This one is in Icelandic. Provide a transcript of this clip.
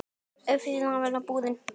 Öspin státin brumi búin.